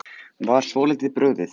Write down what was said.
Var svolítið brugðið